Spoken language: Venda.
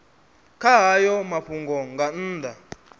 kha hayo mafhungo nga nnḓa